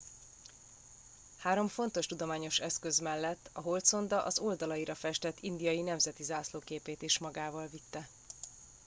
három fontos tudományos eszköz mellett a holdszonda az oldalaira festett indiai nemzeti zászló képét is magával vitte